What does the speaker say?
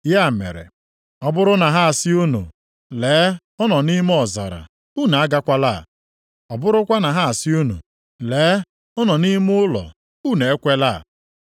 “Ya mere, ọ bụrụ na ha asị unu, ‘Lee, ọ nọ nʼime ọzara,’ unu agakwala. Ọ bụrụkwa na ha asị unu, ‘Lee, ọ nọ nʼime ime ụlọ,’ unu ekwela.